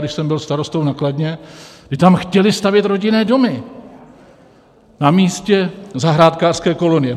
Když jsem byl starostou na Kladně, my tam chtěli stavět rodinné domy na místě zahrádkářské kolonie.